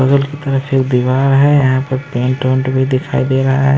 बगल की तरफ एक दीवार है यहां पर पेंट ओंट भी दिखाई दे रहा है।